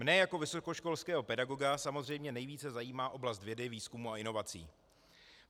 Mne jako vysokoškolského pedagoga samozřejmě nejvíce zajímá oblast vědy, výzkumu a inovací.